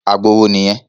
Àgbo wo nìyẹn?